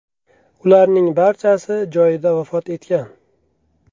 Ularning barchasi joyida vafot etgan.